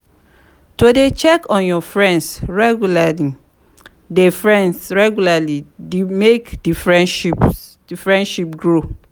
to de check in on friends regularly de friends regularly de make di friendship grow